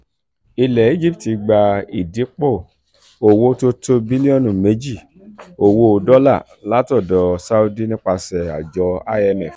ilẹ̀ egypt gba ìdìpọ̀ owó tó tó bílíọ̀nù méjì owó dọ́là látọ̀dọ̀ saudi nípasẹ̀ àjọ imf